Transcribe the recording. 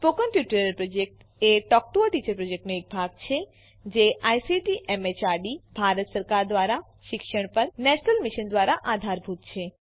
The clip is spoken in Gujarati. spoken tutorial project a talk to a teacher પ્રોજેક્ટનો એક ભાગ છે જે આઇસીટી એમએચઆરડી ભારત સરકાર દ્વારા શિક્ષણ પર નેશનલ મિશન દ્વારા આધારભૂત છે